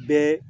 Bɛɛ